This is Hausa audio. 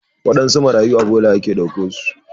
Waɗansu marayun a bola ake ɗauko su.